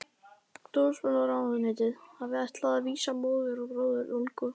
Dómsmálaráðuneytið hafði ætlað að vísa móður og bróður Olgu